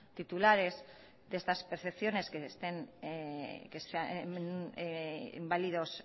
titulares de estas percepciones que están inválidos